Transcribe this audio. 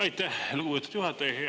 Aitäh, lugupeetud juhataja!